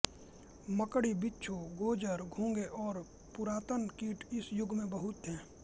मकड़ी बिच्छू गोजर घोंघे और पुरातन कीट इस युग में बहुत थे